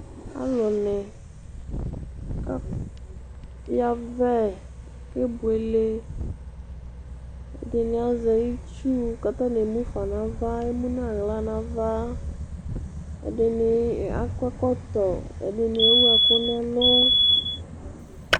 ɔlòni aya vɛ kebuele ɛdini azɛ itsu k'atani emu fa n'ava emu n'ala n'ava ɛdini akɔ ɛkɔtɔ ɛdini ewu ɛkò n'ɛlu.